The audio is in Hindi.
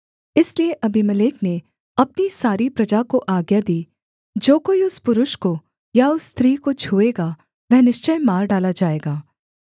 इसलिए अबीमेलेक ने अपनी सारी प्रजा को आज्ञा दी जो कोई उस पुरुष को या उस स्त्री को छूएगा वह निश्चय मार डाला जाएगा